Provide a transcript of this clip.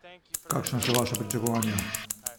Kakšna so vaša pričakovanja?